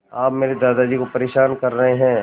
आप मेरे दादाजी को परेशान कर रहे हैं